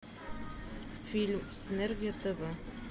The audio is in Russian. фильм синергия тв